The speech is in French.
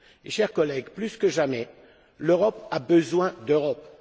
Chers collègues, plus que jamais, l'Europe a besoin d'Europe!